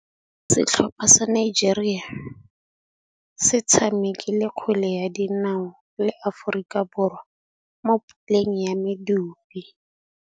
Setlhopha sa Nigeria se tshamekile kgwele ya dinaô le Aforika Borwa mo puleng ya medupe.